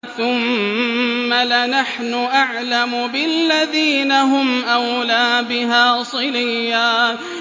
ثُمَّ لَنَحْنُ أَعْلَمُ بِالَّذِينَ هُمْ أَوْلَىٰ بِهَا صِلِيًّا